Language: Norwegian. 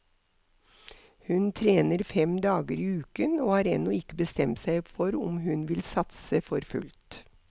Hun trener fem dager i uken og har ennå ikke bestemt seg for om hun vil satse for fullt.